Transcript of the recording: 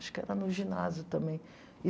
Acho que era no ginásio também.